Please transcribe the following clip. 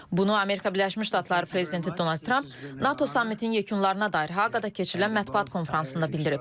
Bunu Amerika Birləşmiş Ştatları prezidenti Donald Tramp NATO sammitinin yekunlarına dair Hağada keçirilən mətbuat konfransında bildirib.